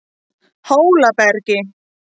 Hólabergi